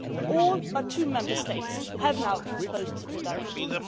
All but two Member States have now transposed the directive.